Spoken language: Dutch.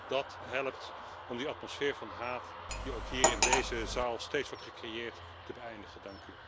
Wellicht dat dat helpt om die atmosfeer van haat, die ook in deze zaal steeds wordt gecreëerd, te beëindigen.